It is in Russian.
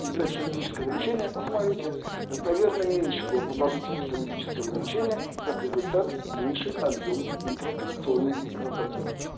и блядь с хирургического лечения посмотрите достоверно меньше было продолжительность хирургического лечения и как результат меньше объём интраоперационной кровопотери